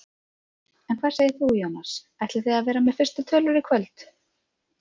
En hvað segir þú Jónas, ætlið þið að vera með fyrstu tölur í kvöld?